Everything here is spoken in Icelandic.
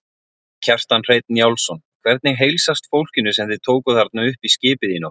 Kjartan Hreinn Njálsson: Hvernig heilsast fólkinu sem þið tókuð þarna upp í skipið í nótt?